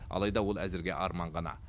алайда ол әзірге арман ғана